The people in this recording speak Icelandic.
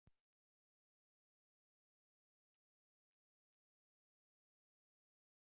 Hvort er krullað hár ríkjandi eða víkjandi?